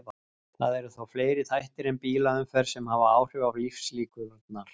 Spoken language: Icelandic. Það eru þó fleiri þættir en bílaumferð sem hafa áhrif á lífslíkurnar.